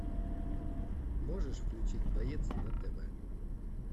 можешь включить боец на тв